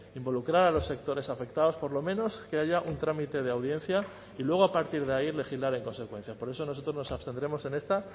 involucrar a los sectores afectados por lo menos que haya un trámite de audiencia y luego a partir de ahí legislar en consecuencia por eso nosotros nos abstendremos en esta